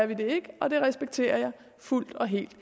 vi det ikke og det respekterer jeg fuldt og helt